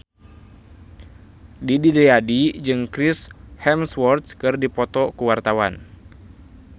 Didi Riyadi jeung Chris Hemsworth keur dipoto ku wartawan